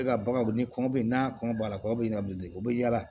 E ka baganw ni kɔngɔ bɛ n'a kɔngɔ la kɔɲɔ bɛ ɲan bilen o bɛ yaala